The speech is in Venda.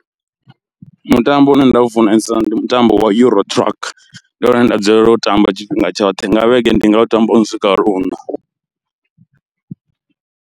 Mutambo une nda u funesa ndi mutambo wa EURO truck ndi wone une nda dzulela u ṱamba tshifhinga tshoṱhe nga vhege ndi nga u tamba lwono swika luṋa.